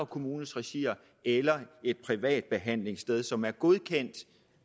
kommunes regi eller et privat behandlingssted som er godkendt